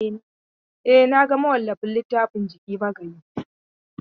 E, na ga mawallafin littafin Jiki Magayi.